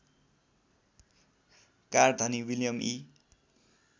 कारधनी William इ